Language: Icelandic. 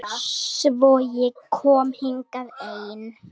Svo ég kom hingað ein.